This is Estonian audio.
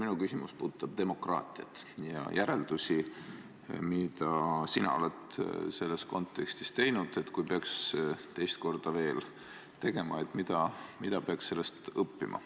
Minu küsimus puudutab demokraatiat ja järeldusi, mida sina oled selles kontekstis teinud, ning kui peaks seda kõike teist korda veel tegema, siis mida peaks sellest õppima.